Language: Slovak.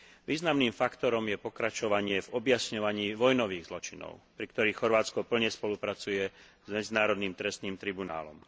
Významným faktorom je pokračovanie v objasňovaní vojnových zločinov, pri ktorých Chorvátsko plne spolupracuje s Medzinárodným trestným tribunálom.